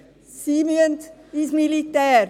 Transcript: Sie müssen ins Militär.